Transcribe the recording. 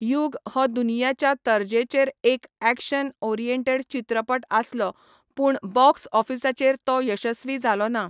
युग हो दुनियाच्या तर्जेचेर एक ऍक्शन ओरिएंटेड चित्रपट आसलो, पूण बॉक्स ऑफिसाचेर तो यशस्वी जालो ना.